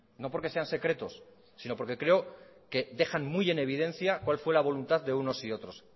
no porque sean secretos sino porque creo que dejan muy en evidencia cuál fue la voluntad de unos y otros